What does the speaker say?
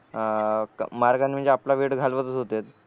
अ मार्गाने म्हणजे आपला वेळ घालवतच होतेत